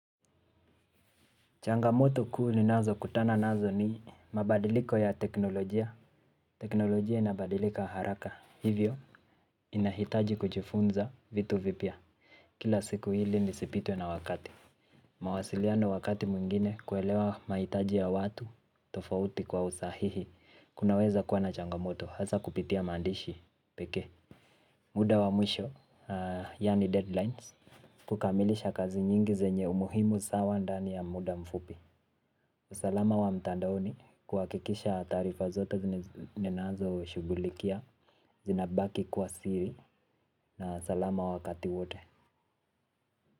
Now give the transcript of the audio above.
Changamoto kuu ni nazo kutana nazo ni mabadiliko ya teknolojia. Teknolojia inabadilika haraka. Hivyo inahitaji kujifunza vitu vipya. Kila siku ili nisipitwe na wakati. Mawasiliano wakati mwingine kuelewa mahitaji ya watu tofauti kwa usahihi. Kunaweza kuwa na changamoto. Hasa kupitia maandishi pekee. Muda wa mwisho yaani deadlines. Kukamilisha kazi nyingi zenye umuhimu sawa ndani ya muda mfupi. Usalama wa mtandaoni kuha kikisha taarifa zote ni nazo shughulikia, zinabaki kuwa siri na salama wakati wote.